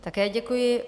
Také děkuji.